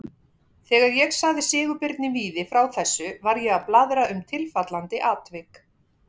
Þegar ég sagði Sigurbirni Víði frá þessu var ég að blaðra um tilfallandi atvik.